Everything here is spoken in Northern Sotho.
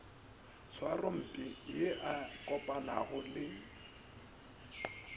tshwarompe ye a kopanago le